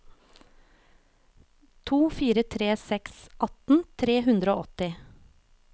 to fire tre seks atten tre hundre og åtti